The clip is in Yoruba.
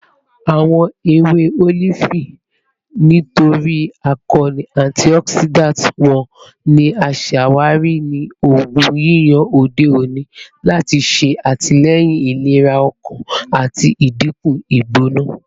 Awọn ewe olifi, nitori akoonu antioxidant wọn, ni a ṣawari ni oogun yiyan ode oni lati ṣe atilẹyin ilera ọkan ati dinku igbona